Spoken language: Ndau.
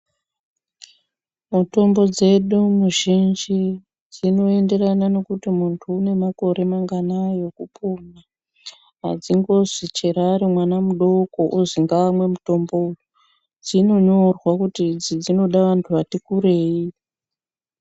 Mutombo dzedu muzhinji dzinoenderana nokuti muntu unemakore manganai ekupona. Hadzingozi chero arimwana mudoko ozi ngaamwe mutombowo, dzinonyorwa kuti idzi dzinoda vantu vati kurei.